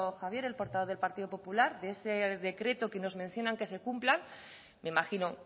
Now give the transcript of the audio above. javier el portavoz del partido popular de ese decreto que nos mencionan que se cumpla me imagino